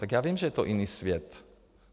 Takže já vím, že je to jiný svět.